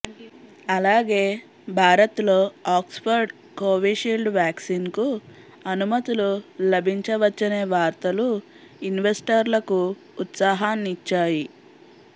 అలాగే భారత్లో Oxford Covishield వ్యాక్సిన్కు అనుమతులు లభించవచ్చనే వార్తలూ ఇన్వెస్టర్లకు ఉత్సాహాన్నిచ్చాయి